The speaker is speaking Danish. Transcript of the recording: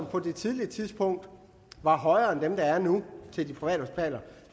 på det tidlige tidspunkt var højere end dem der er nu